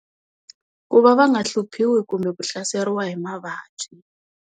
Ku va va nga hluphiwi kumbe ku hlaseriwa hi mavabyi.